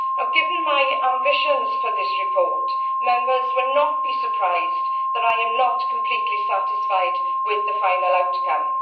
Given my ambitions for this report, Members will not be surprised that I am not completely satisfied with the final outcome.